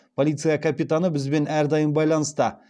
полиция капитаны бізбен әрдайым байланыста